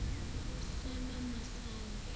samamasayi